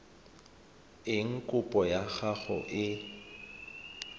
eng kopo ya gago e